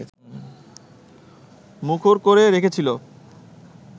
মুখর করে রেখেছিল